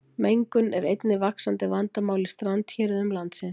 mengun er einnig vaxandi vandamál í strandhéruðum landsins